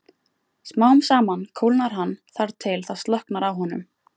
Smám saman kólnar hann þar til það slokknar á honum.